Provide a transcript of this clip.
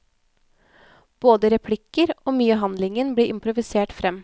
Både replikker og mye av handlingen blir improvisert frem.